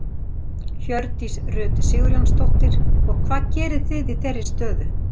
Hjördís Rut Sigurjónsdóttir: Og hvað gerið þið í þeirri stöðu?